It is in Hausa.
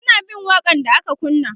suna bin waƙa n da aka kunna